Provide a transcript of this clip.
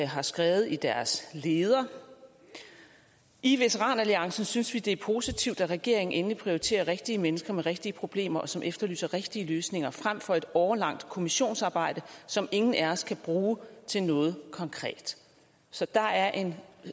har skrevet i deres leder i veteranalliancen synes vi det er positivt at regeringen endelig prioriterer rigtige mennesker med rigtige problemer og som efterlyser rigtige løsninger frem for et årelangt kommissionsarbejde som ingen af os kan bruge til noget konkret så der er en